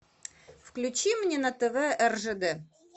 включи мне на тв ржд